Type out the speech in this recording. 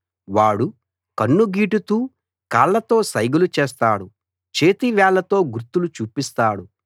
వాడు కన్ను గీటుతూ కాళ్లతో సైగలు చేస్తాడు చేతి వేళ్లతో గుర్తులు చూపిస్తాడు